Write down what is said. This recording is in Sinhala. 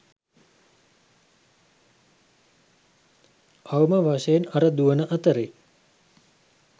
අවම වශයෙන් අර දුවන අතරේ